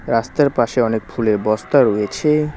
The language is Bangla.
রাস্তার পাশে অনেক ফুলের বস্তা রয়েছে।